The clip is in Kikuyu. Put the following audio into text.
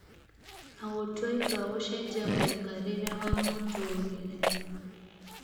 na gũtua itua gũcenjia mũikarĩĩre wa mũtũũrĩre